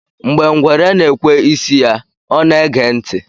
Mgbe ngwere na-ekwe isi ya, ọ na-ege ntị